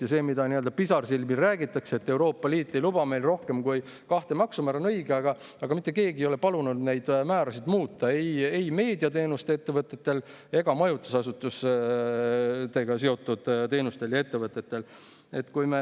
Ja see, millest pisarsilmil räägitakse, et Euroopa Liit ei luba rohkem kui kahte maksumäära, on õige, aga mitte keegi ei ole palunud neid määrasid muuta, ei meediateenuste ettevõtetel ega majutusasutustega seotud teenustel ja ettevõtetel.